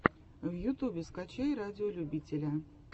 в ютубе скачай радиолюбителя